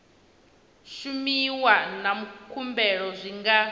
shumiwa na khumbelo zwi nga